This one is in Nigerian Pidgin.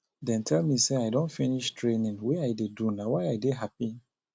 dem tell me say i don finish training wey i dey do na why i dey happy